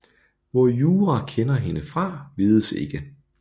Hvor Yura kender hende fra vides ikke